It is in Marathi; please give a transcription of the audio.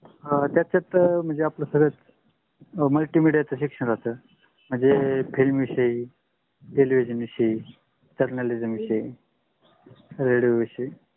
अह त्याच्यात म्हणजे आपल सगळ Multimedia section राहत म्हणजे film विषयी television विषयी journalism विषयी radio विषयी.